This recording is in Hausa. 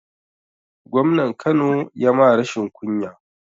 Gwamnan kano ya ma rashin kunya